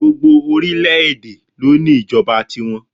Gbogbo orílẹ̀ èdè ni o ní ìjọba ti wọn